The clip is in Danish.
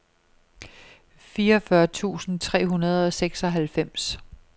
fireogfyrre tusind tre hundrede og seksoghalvfems